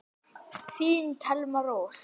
Þín Thelma Rós.